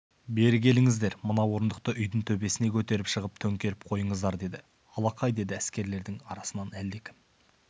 бері келіңіздер мына орындықты үйдің төбесіне көтеріп шығып төңкеріп қойыңыздар деді алақай деді әскерлердің арасынан әлдекім